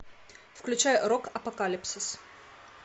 включай рок апокалипсис